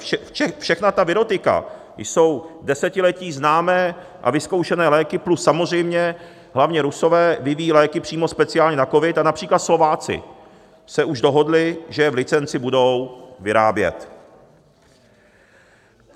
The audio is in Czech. Všechna ta virotika jsou desetiletí známé a vyzkoušené léky, plus samozřejmě hlavně Rusové vyvíjejí léky přímo speciálně na covid, a například Slováci se už dohodli, že je v licenci budou vyrábět.